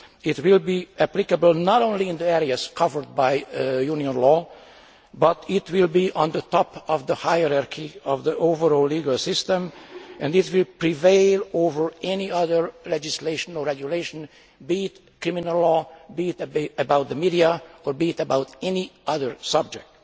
It will be applicable not only in the areas covered by Union law, but it will be at the top of the hierarchy of the overall legal system and it will prevail over any other legislation or regulation, be it criminal law, be it about the media or be it about any other subject.